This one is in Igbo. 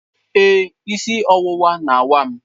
Ee, isi ọwụwa na-awa m.